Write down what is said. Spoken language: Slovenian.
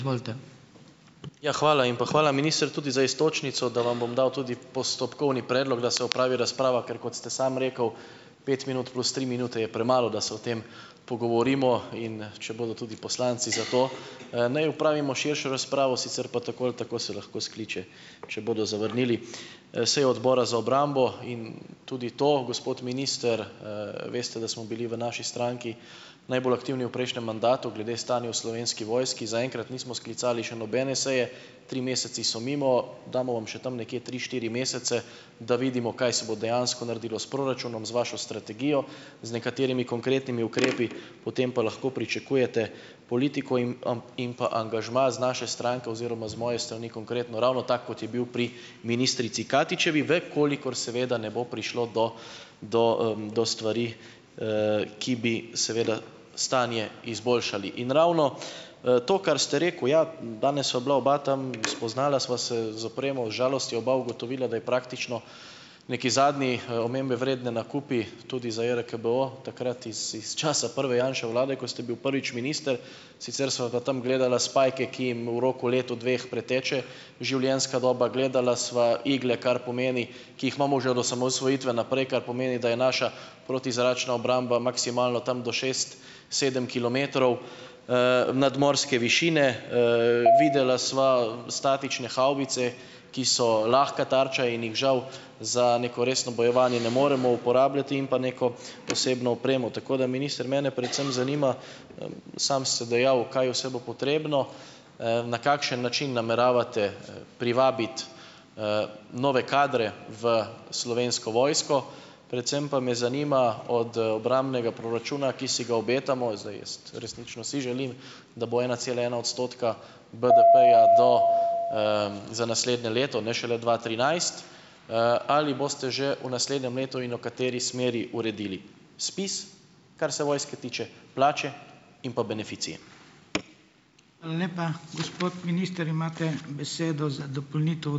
Ja, hvala. In pa hvala ministru tudi za iztočnico, da vam bom dal tudi postopkovni predlog, da se opravi razprava, ker kot ste sam rekel, pet minut plus tri minute je premalo, da se o tem pogovorimo, in, če bodo tudi poslanci za to, ne, opravimo širšo razpravo, sicer pa tako ali tako se lahko skliče, če bodo zavrnili, sejo Odbora za obrambo in tudi to, gospod minister, veste, da smo bili v naši stranki najbolj aktivni v prejšnjem mandatu glede stanja v Slovenski vojski. Zaenkrat nismo sklicali še nobene seje, tri mesece so mimo. Damo vam še tam nekje tri, štiri mesece, da vidimo kaj se bo dejansko naredilo s proračunom, z vašo strategijo, z nekaterimi konkretnimi ukrepi, potem pa lahko pričakujete politiko im in pa angažma iz naše stranke oziroma z moje strani konkretno ravno tako, kot je bil pri ministrici Katičevi, ve, koliko seveda ne bo prišlo do do, do stvari, ki bi seveda stanje izboljšale. In ravno, to, kar ste rekel, ja, danes sva bila oba tam, spoznala sva se z opremo, z žalostjo oba ugotovila, da je praktično neki zadnji, omembe vreden nakup, tudi za JRKBO, takrat it, iz časa prve Janševe vlade, ko ste bil prvič minister. Sicer sva pa tam gledala spajke, ki jim v roku leta, dveh preteče življenjska doba. Gledala sva igle, kar pomeni, ki jih imamo že od osamosvojitve naprej, kar pomeni, da je naša protizračna obramba maksimalno tam do šest, sedem kilometrov, nadmorske višine. Videla sva statične havbice, ki so lahko tarča in jih žal za neko resno bojevanje ne moremo uporabljati in pa neko osebno opremo. Tako da minister mene predvsem zanima, sam ste dejal, kaj vse bo potrebno. Na kakšen način nameravate, privabiti, nove kadre v Slovensko vojsko, predvsem pa me zanima od, obrambnega proračuna, ki si ga obetamo, zdaj jaz resnično si želim, da bo ena cela ena odstotka BDP-ja do, za naslednje leto, ne šele dva trinajst. Ali boste že v naslednjem letu in v kateri smeri uredili SPIZ, kar se vojske tiče, plače? In pa beneficije?